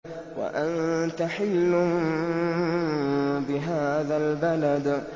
وَأَنتَ حِلٌّ بِهَٰذَا الْبَلَدِ